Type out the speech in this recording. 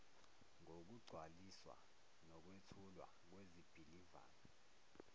ngokugcwaliswa nokwethulwa kwezibhilivana